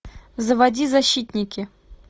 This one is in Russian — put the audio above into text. заводи защитники